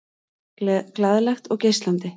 Glaðlegt og geislandi.